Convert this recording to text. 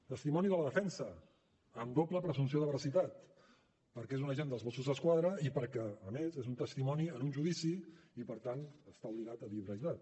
testimoni de la defensa amb doble presumpció de veracitat perquè és un agent dels mossos d’esquadra i perquè a més és un testimoni en un judici i per tant està obligat a dir la veritat